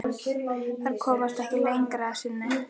Þær komast ekki lengra að sinni.